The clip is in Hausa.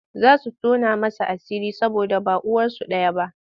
Za su tona masa asiri saboda ba uwarsu ɗaya ba.